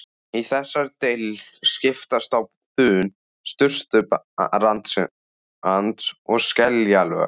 Í þessari deild skiptast á þunn surtarbrands- og skeljalög.